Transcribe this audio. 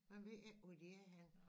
Man ved ikke hvor de er henne